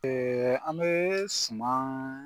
Ɛɛ an be sumaman